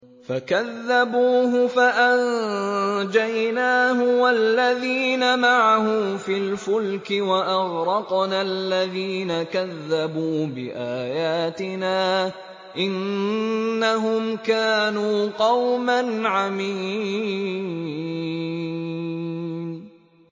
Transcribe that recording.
فَكَذَّبُوهُ فَأَنجَيْنَاهُ وَالَّذِينَ مَعَهُ فِي الْفُلْكِ وَأَغْرَقْنَا الَّذِينَ كَذَّبُوا بِآيَاتِنَا ۚ إِنَّهُمْ كَانُوا قَوْمًا عَمِينَ